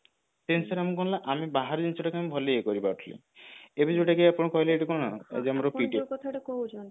ସେଇ ଜିନିଷ ଟା ଆମେ କଣ ନା ଆମେ ବାହାର ଜିନିଷଟା କୁ ଆମେ ଭଲରେ ଇଏ କରି ପାରୁଥିଲେ ଯଦି ଯୋଉଟା କି ଆପଣ କହିଲେ ଏଇଟା କଣ ଆମର